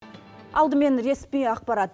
алдымен ресми ақпарат